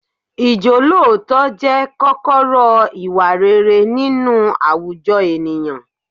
Ìjọ́lóòótọ́ jẹ́ kọ́kọ́rọ́ ìwà rere nínú àwùjọ ènìyàn.